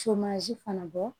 fana bɔ